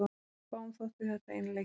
Fáum þótti þetta einleikið.